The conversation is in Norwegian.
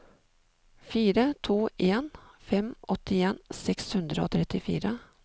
fire to en fem åttien seks hundre og trettifire